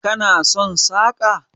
Kana son saƙa?